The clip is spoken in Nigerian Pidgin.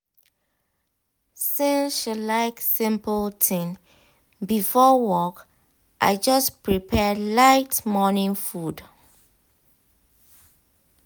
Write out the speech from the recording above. since she like simple thing before work i just prepare light morning food.